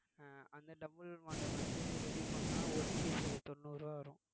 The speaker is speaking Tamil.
அஹ் அந்த double model வந்து ready பண்ணா ஒரு piece அது தொண்ணூறு ரூவா வரும்